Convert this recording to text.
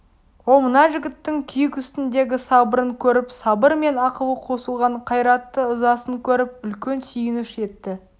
ол мына жігіттің күйік үстіндегі сабырын көріп сабыр мен ақылы қосылған қайратты ызасын көріп үлкен сүйініш етті